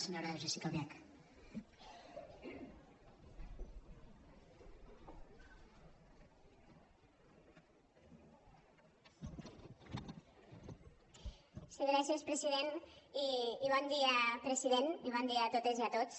sí gràcies president i bon dia president i bon dia a totes i a tots